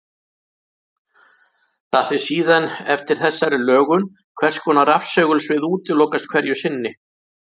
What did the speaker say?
Það fer síðan eftir þessari lögun hvers konar rafsegulsvið útilokast hverju sinni.